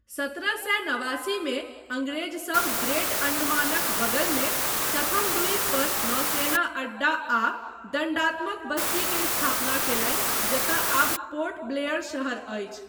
सत्रह सए नवासीमे अङ्ग्रेज सब ग्रेट अण्डमानक बगलमे चथम द्वीप पर नौसेना अड्डा आ दण्डात्मक बस्ती के स्थापना कयलनि जतय आब पोर्ट ब्लेयर शहर अछि।